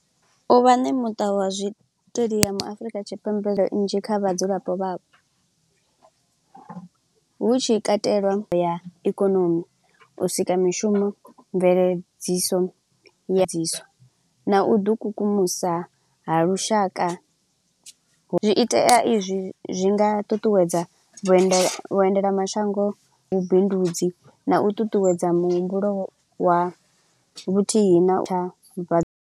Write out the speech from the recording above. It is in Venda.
U vha nemuṱa wa zwiṱediamu Afurika Tshipembe nnzhi kha vhadzulapo vhapo, hu tshi katelwa ya ikonomi, u sika mishumo, mveledziso ya mveledziso na u u ḓi kukumusa ha lushaka. Zwi itea izwi zwi nga ṱuṱuwedza vhuendela vhuendela mashango, vhu bindudzi na u ṱuṱuwedza muhumbulo wa vhuthihi na tha vha.